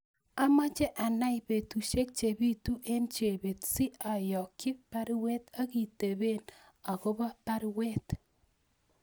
Amache anai petusiek chebitu en Chebet si ayokyi baruet akitepen agobo baruet